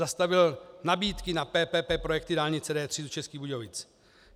Zastavil nabídky na PPP projekty dálnice D3 do Českých Budějovic.